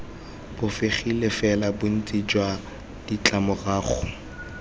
bofegile fela bontsi jwa ditlamorago